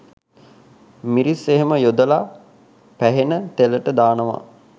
මිරිස් එහෙම යොදලා පැහෙන තෙලට දානව